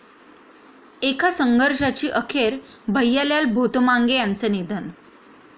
एका संघर्षाची अखेर, भैयालाल भोतमांगे यांचं निधन